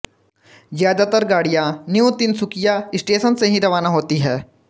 ज्यादातर गाड़ियाँ new Tinsukia station से ही रवाना होती है